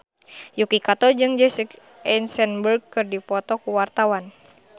Yuki Kato jeung Jesse Eisenberg keur dipoto ku wartawan